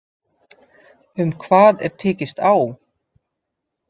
Um hvað er tekist á